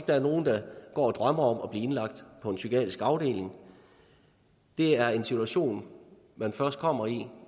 der er nogen der går og drømmer om at blive indlagt på en psykiatrisk afdeling det er en situation man først kommer i